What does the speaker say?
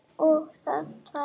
Og það tvær.